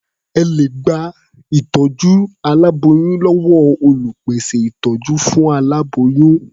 Ẹ lè gba ìtọ́jú fún aláboyún láti ọwọ́ olùpèsè ìtọ́jú fún aláboyún.